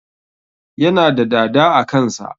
Yana da dada a kan sa